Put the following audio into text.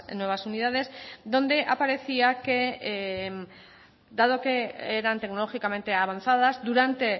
nuevas unidades donde aparecía que dado que eran tecnológicamente avanzadas durante